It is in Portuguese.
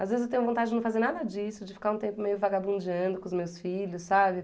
Às vezes eu tenho vontade de não fazer nada disso, de ficar um tempo meio vagabundeando com os meus filhos, sabe?